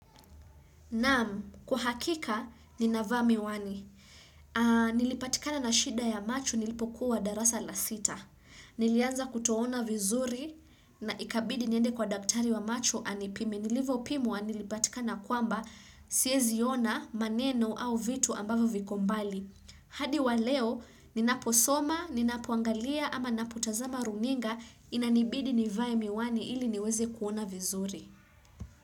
Naam, kwa hakika, ninavaa miwani. Nilipatikana na shida ya macho nilipokuwa darasa la sita. Nilianza kutoona vizuri na ikabidi niende kwa daktari wa macho anipime. Nilivopimwa nilipatikana kwamba siezi ona maneno au vitu ambavyo viko mbali. Hadi wa leo, ninaposoma, ninapoangalia ama ninapotazama runinga inanibidi nivae miwani ili niweze kuona vizuri.